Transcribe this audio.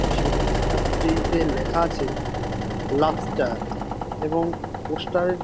এবং সেই পোস্টার -টিতে লেখা আছে লাবস্টার এবং পোস্টারের --